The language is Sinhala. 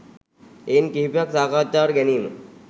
එයින් කිහිපයක් සාකච්ඡාවට ගැනීම